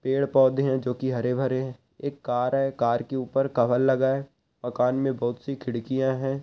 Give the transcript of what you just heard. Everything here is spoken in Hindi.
पेड़ पौधे है जो की हरे भरे है एक कार है कार की ऊपर कवर लगा है मकान मे बहुत सी खिड़कियाँ है।